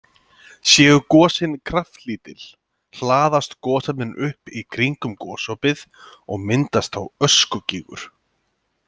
Séu gosin kraftlítil hlaðast gosefnin upp í kringum gosopið og myndast þá öskugígur.